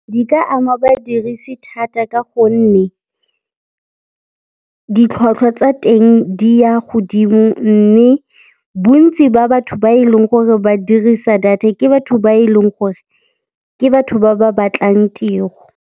Di ka ama badirisi thata ka gonne ditlhwatlhwa tsa teng di ya godimo mme bontsi ba batho ba e leng gore ba dirisa data ke batho ba e leng gore ke batho ba ba batlang tiro.